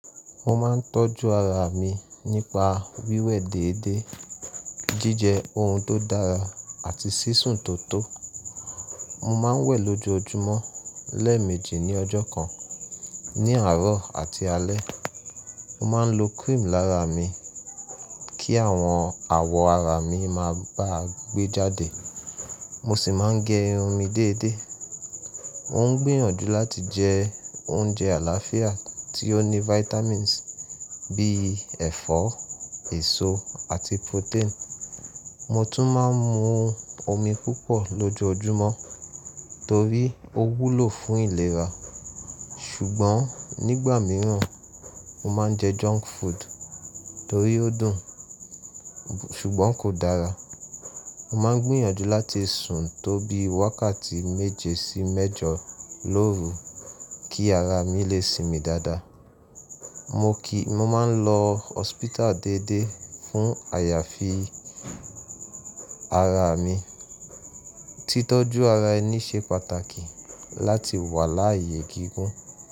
Mo máa ń tọ́jú ara mi nípa wíwẹ̀ déédéé, jíjẹ ohun tó dára àti sísùn tó tó. Mo máa ń wẹ̀ lójoojúmọ́ lẹ́ẹ̀mejì ní ọjọ́ kan ní àárọ̀ àti alẹ́. Mo máa ń lo cream lára mi kí àwọn awọ ara mi máa ba gbé jáde. Mo sì máa ń gẹ irun mi déédéé. Mo ń gbìyànjú láti jẹ oúnjẹ àlàáfíà tí ó ní vitamins bíi ẹ̀fọ́, èso àti protein. Mo tún máa ń mu omi púpọ̀ lójoojúmọ́ torí ó wúlò fún ìlera. Ṣùgbọ́n nígbà mìíràn, mo máa ń jẹ junk food torí ó dùn, ṣùgbọ́n kò dára. Mo máa ń gbìyànjú láti sùn tó bí wákàtí méje sí mẹ́jọ lóru kí ara mi lè sinmi dáadáa. Mo kì í, mo máa ń lọ hospital déédéé fún àyàfi ara mi. Titọ́jú ara ẹni ṣe pàtàkì láti wà láàyè gígùn.